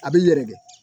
A b'i yɛrɛkɛ